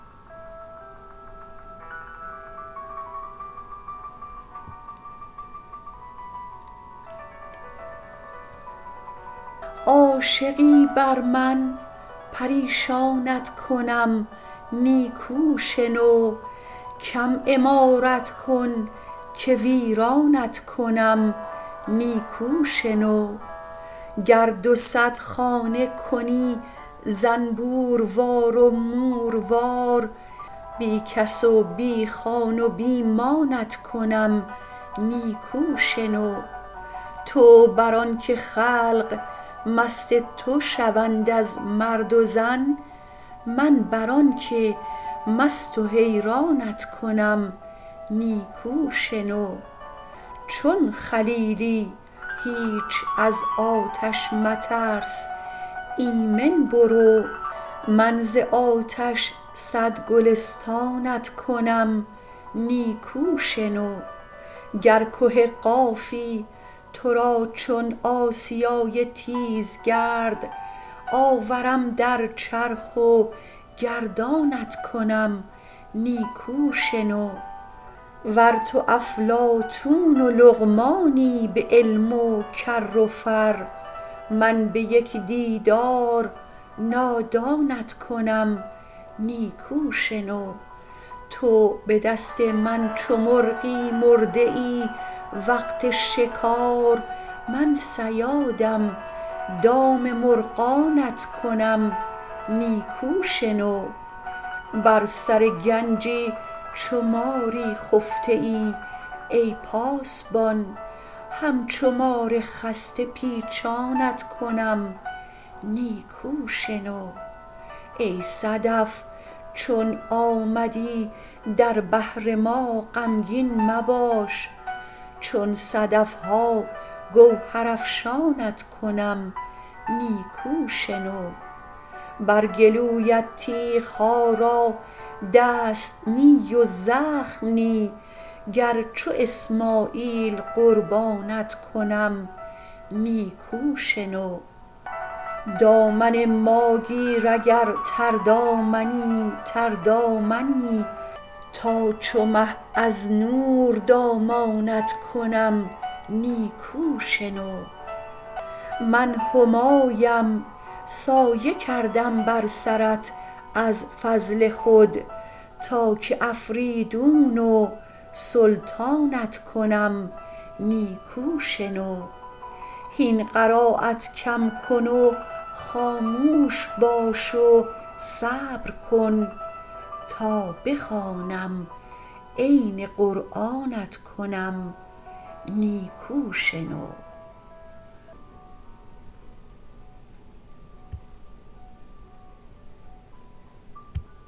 عاشقی بر من پریشانت کنم نیکو شنو کم عمارت کن که ویرانت کنم نیکو شنو گر دو صد خانه کنی زنبوروار و موروار بی کس و بی خان و بی مانت کنم نیکو شنو تو بر آنک خلق مست تو شوند از مرد و زن من بر آنک مست و حیرانت کنم نیکو شنو چون خلیلی هیچ از آتش مترس ایمن برو من ز آتش صد گلستانت کنم نیکو شنو گر که قافی تو را چون آسیای تیزگرد آورم در چرخ و گردانت کنم نیکو شنو ور تو افلاطون و لقمانی به علم و کر و فر من به یک دیدار نادانت کنم نیکو شنو تو به دست من چو مرغی مرده ای وقت شکار من صیادم دام مرغانت کنم نیکو شنو بر سر گنجی چو ماری خفته ای ای پاسبان همچو مار خسته پیچانت کنم نیکو شنو ای صدف چون آمدی در بحر ما غمگین مباش چون صدف ها گوهرافشانت کنم نیکو شنو بر گلویت تیغ ها را دست نی و زخم نی گر چو اسماعیل قربانت کنم نیکو شنو دامن ما گیر اگر تردامنی تردامنی تا چو مه از نور دامانت کنم نیکو شنو من همایم سایه کردم بر سرت از فضل خود تا که افریدون و سلطانت کنم نیکو شنو هین قرایت کم کن و خاموش باش و صبر کن تا بخوانم عین قرآنت کنم نیکو شنو